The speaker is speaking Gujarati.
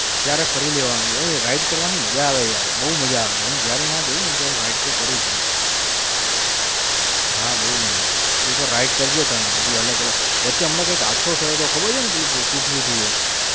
ત્યારે ફરી લેવાનું હોય ride કરવાની મજા આવે યાર બહુ મજા આવે હું જયારે ત્યાં જાવને ત્યારે ride તો કરું જ હું. હા બહુ મજા આવે એક વાર ride કરજે તને બધી અલગ અલગ વચ્ચે હમણાં કાઈક હાદસો થયો તો ખબર છે ને પેલું તૂટ્યું હતું એક.